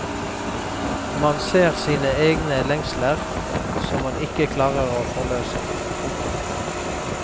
Man ser sine egne lengsler som man ikke klarer å forløse. punktum